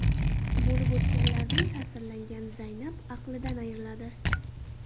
Bo‘lib o‘tganlardan ta’sirlangan Zaynab aqlidan ayriladi.